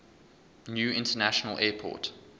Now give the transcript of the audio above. new international airport